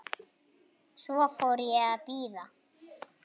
Svo fór ég að bíða.